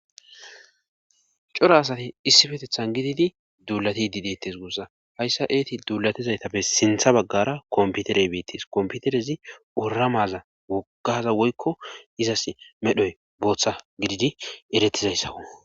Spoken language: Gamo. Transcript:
coro asati issipetethan gididi duulatidi deettes guussa hayssa eeti duulatizaytappe sintha baggara komputerey beettes komputerezi oramaza wogaza woykko izas medhoy booththa gididi erettizayssawo